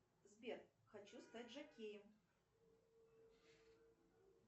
сбер хочу стать жокеем